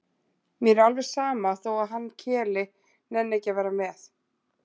Mér er alveg sama þó að hann Keli nenni ekki með.